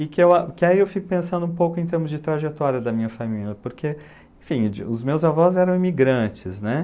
E que aí eu fico pensando um pouco em termos de trajetória da minha família, porque, enfim, os meus avós eram imigrantes, né?